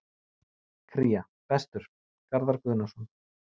Kría: Bestur: Garðar Guðnason